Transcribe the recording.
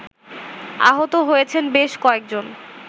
আহত হয়েছেন বেশ কয়েকজন